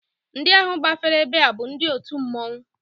Ndị ahụ gbafere ebe a bụ ndị otu mmọnwụ